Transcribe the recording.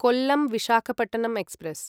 Kollam Visakhapatnam express